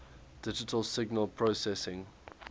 digital signal processing